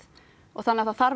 það þarf